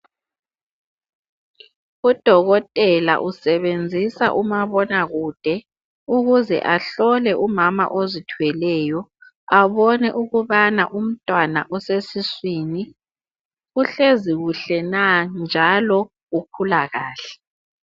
Udokotela usebenzisa umabonakude ukuze ahlole umama ozithweleyo, abone ukubana umntwana osesiswini uhlezi kuhle na njalo ukhula kahle.